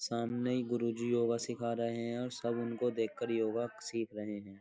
सामने गुरुजी योगा सिखा रहे हैं और सब उनको देखकर योगा सीख रहे हैं।